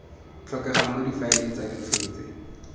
tlhokegang mo difaeleng tsa dikgetse